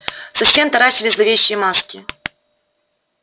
со стен таращились зловещие маски